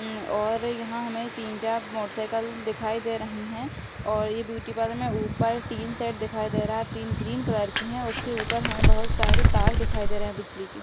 हम्म और हमें यहां तीन-चार मोटरसाइकिल दिखाई दे रही है और ये ब्यूटी पार्लर में में ऊपर टिन सेट दिखाएं दे रहा है टिन ग्रीन कलर की है उसके ऊपर हमें बहुत सारे तार दिखाई दे रहे हैं बिजली के।